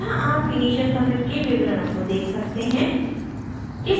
यहाँ आप initial commit के विवरणों को देख सकते हैं